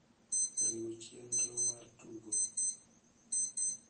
riw chenro mar tugo